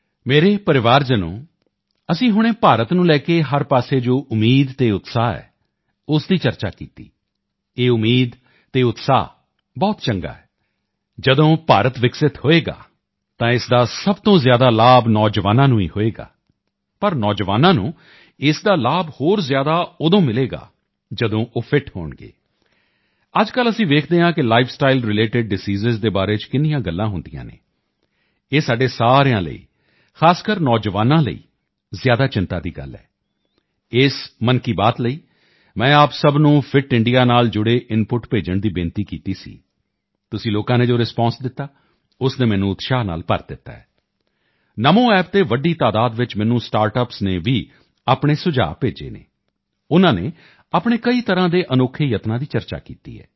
ਮੇਰੇ ਪਰਿਵਾਰਜਨੋਂ ਅਸੀਂ ਹੁਣੇ ਭਾਰਤ ਨੂੰ ਲੈ ਕੇ ਹਰ ਪਾਸੇ ਜੋ ਉਮੀਦ ਅਤੇ ਉਤਸ਼ਾਹ ਹੈ ਉਸ ਦੀ ਚਰਚਾ ਕੀਤੀ ਇਹ ਉਮੀਦ ਅਤੇ ਉਤਸ਼ਾਹ ਬਹੁਤ ਚੰਗਾ ਹੈ ਜਦੋਂ ਭਾਰਤ ਵਿਕਸਿਤ ਹੋਵੇਗਾ ਤਾਂ ਇਸ ਦਾ ਸਭ ਤੋਂ ਜ਼ਿਆਦਾ ਲਾਭ ਨੌਜਵਾਨਾਂ ਨੂੰ ਹੀ ਹੋਵੇਗਾ ਪਰ ਨੌਜਵਾਨਾਂ ਨੂੰ ਇਸ ਦਾ ਲਾਭ ਹੋਰ ਜ਼ਿਆਦਾ ਉਦੋਂ ਮਿਲੇਗਾ ਜਦੋਂ ਉਹ ਫਿਟ ਹੋਣਗੇ ਅੱਜਕੱਲ੍ਹ ਅਸੀਂ ਵੇਖਦੇ ਹਾਂ ਕਿ ਲਾਈਫ ਸਟਾਈਲ ਰਿਲੇਟਿਡ ਡਿਜ਼ੀਜ਼ ਬਾਰੇ ਕਿੰਨੀਆਂ ਗੱਲਾਂ ਹੁੰਦੀਆਂ ਹਨ ਇਹ ਸਾਡੇ ਸਾਰਿਆਂ ਲਈ ਖਾਸਕਰ ਨੌਜਵਾਨਾਂ ਲਈ ਜ਼ਿਆਦਾ ਚਿੰਤਾ ਦੀ ਗੱਲ ਹੈ ਇਸ ਮਨ ਕੀ ਬਾਤ ਲਈ ਮੈਂ ਆਪ ਸਭ ਨੂੰ ਫਿੱਟ ਇੰਡੀਆ ਨਾਲ ਜੁੜੇ ਇਨਪੁਟਸ ਭੇਜਣ ਦੀ ਬੇਨਤੀ ਕੀਤੀ ਸੀ ਤੁਸੀਂ ਲੋਕਾਂ ਨੇ ਜੋ ਰਿਸਪਾਂਸ ਦਿੱਤਾ ਉਸ ਨੇ ਮੈਨੂੰ ਉਤਸ਼ਾਹ ਨਾਲ ਭਰ ਦਿੱਤਾ ਹੈ ਨਮੋ ਐਪ ਤੇ ਵੱਡੀ ਤਾਦਾਦ ਵਿੱਚ ਮੈਨੂੰ ਸਟਾਰਟਅੱਪਸ ਨੇ ਵੀ ਆਪਣੇ ਸੁਝਾਅ ਭੇਜੇ ਹਨ ਉਨ੍ਹਾਂ ਨੇ ਆਪਣੇ ਕਈ ਤਰ੍ਹਾਂ ਦੇ ਅਨੋਖੇ ਯਤਨਾਂ ਦੀ ਚਰਚਾ ਕੀਤੀ ਹੈ